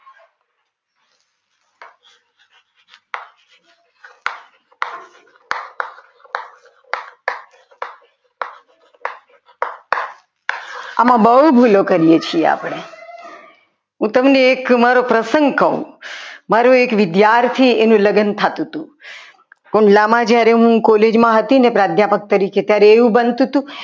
આમાં બહુ ભૂલો કરીએ છીએ આપણે હું તમને એક પ્રસંગ કહું મારો મારો એક વિદ્યાર્થી એનું લગ્ન થતું હતું. ખુલ્લામાં જ્યારે હું કોલેજમાં હતી અધ્યાત્મક તરીકે એવું બનતું હતું